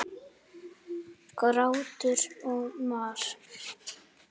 Grátur og mar.